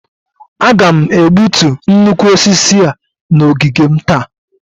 Aga m egbutu nnukwu osisi a n'ogige m taa